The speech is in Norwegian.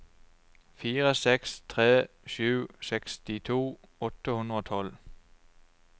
fire seks tre sju sekstito åtte hundre og tolv